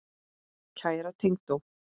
Kæra tengdó.